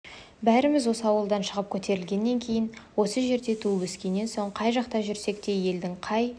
бәріміз осы ауылдан шығып көтерілгеннен кейін осы жерде туып-өскеннен соң қай жақта жүрсек те елдің қай